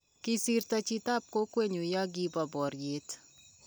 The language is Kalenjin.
kisirto chitab kokwenyu ya kibo boriet